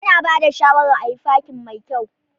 Ana ba da shawaran ayi fakin mai kyau.